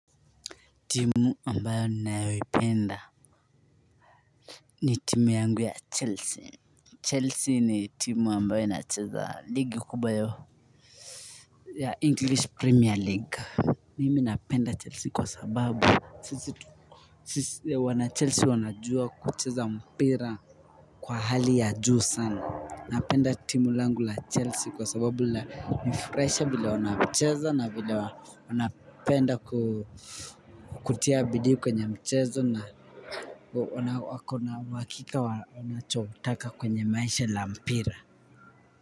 Timu ambayo ninayoipenda, ni timu yangu ya chelsea. Chelsea ni timu ambayo inacheza ligi kubwa ya english premier league. Mimi napenda chelsea kwa sababu Wanachelsea wanajua kucheza mpira kwa hali ya juu sana. Napenda timu langu la chelsea kwa sababu lanifurahisha vile wanacheza na vile wanapenda kutia bidii kwenye mchezo na na uhakika wa wanachotaka kwenye maisha la mpira.